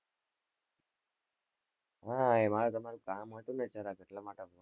હા એ મારે તમારું કામ હતુ ને આટલા માટે કર્યો